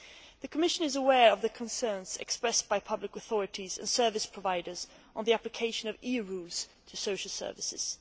The Commission is aware of the concerns expressed by public authorities and service providers on the application of EU rules to social services.